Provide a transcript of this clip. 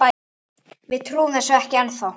Við trúum þessu ekki ennþá.